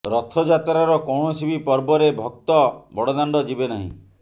ରଥଯାତ୍ରାର କୌଣସି ବି ପର୍ବରେ ଭକ୍ତ ବଡ଼ଦାଣ୍ଡ ଯିବେ ନାହିଁ